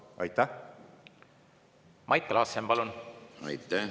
Mait Klaassen, palun!